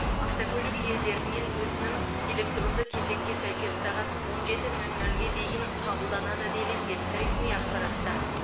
автокөлік иелерінен өтінім электронды кезекке сәйкес сағат он жеті нөл нөлге дейін қабылданады делінген ресми ақпаратта